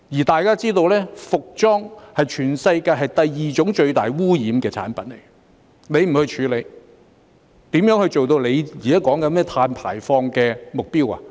大家也知道，服裝是全世界第二種最大污染的產品，他不去處理，如何做到他現在說的碳排放目標？